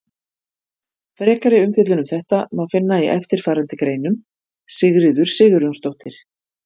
Frekari umfjöllun um þetta efni má finna í eftirfarandi greinum: Sigríður Sigurjónsdóttir.